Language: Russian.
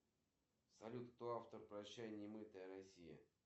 джой сыграй музыку в жанре металл